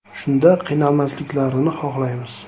Shunda qiynalmasliklarini xohlaymiz.